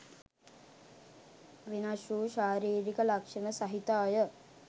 වෙනස්වූ ශාරීරික ලක්ෂණ සහිත අය